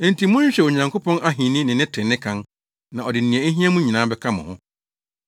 Enti monhwehwɛ Onyankopɔn Ahenni ne ne trenee kan, na ɔde nea ehia mo nyinaa bɛka mo ho.